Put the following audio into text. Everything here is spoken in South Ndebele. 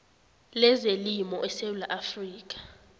lezelimo esewula afrika